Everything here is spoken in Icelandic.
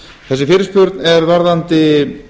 þessi fyrirspurn er varðandi